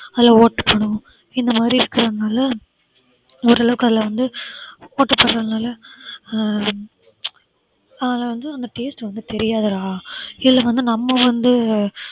அதுல ஓட்ட போடும் இந்த மாதிரி இருக்கறதுனால ஓரளவுக்கு அதுல வந்து ஓட்ட போடுறதுனால ஹம் அதுல வந்து அந்த taste வந்து தெரியாதுடா இதுல வந்து நம்ம வந்து